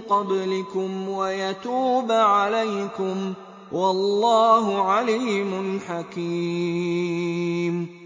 قَبْلِكُمْ وَيَتُوبَ عَلَيْكُمْ ۗ وَاللَّهُ عَلِيمٌ حَكِيمٌ